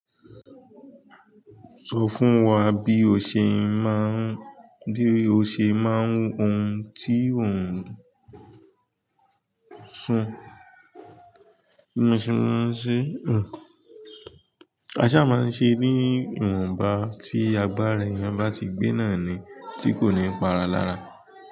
Sọ fún wa bí o ṣe má ń, díri o ṣe má ń hun tí ó ń sun, bí mo ṣe máa ń ṣe hun. Aṣá máa ń ṣe ní ìwọ̀nba tí àgbà rẹ̀ èèyàn bá ti gbé náà ni tí kò ní pa ara lára.